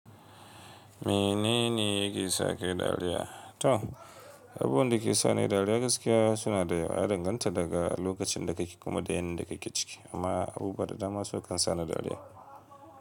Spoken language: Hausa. Menene yake sa kayi dariya? To, abubuwan da ke sa ni dariya gaskiya suna da yawa. Ya danganta daga lokacin da ka kake kuma da yanayin da ka kake ciki. Amma abu buwa da dama sukan sa ni dariya.